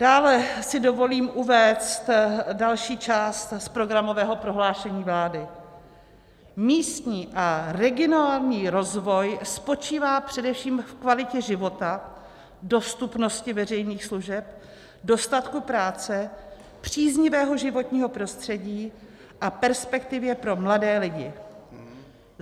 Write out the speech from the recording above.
Dále si dovolím uvést další část z programového prohlášení vlády: Místní a regionální rozvoj spočívá především v kvalitě života, dostupnosti veřejných služeb, dostatku práce, příznivého životního prostředí a perspektivě pro mladé lidi.